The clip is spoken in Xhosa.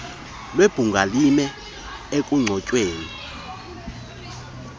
webhunga lime ekunconyweni